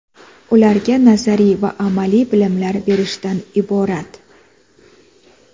ularga nazariy va amaliy bilimlar berishdan iborat.